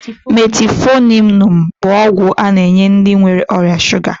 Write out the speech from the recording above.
Metiifominu bụ ọgwụ a na-enye ndị nwere ọrịa shuga